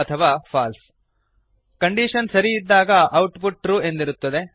true ಅಥವಾ false condition ಸರಿ ಇದ್ದಾಗ ಔಟ್ ಪುಟ್ ಟ್ರೂ ಎಂದಿರುತ್ತದೆ